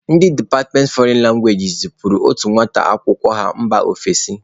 Ndị departmentị fọrịn langwaeji zịpuru otu nwata akwụkwọ ha mba ofesi.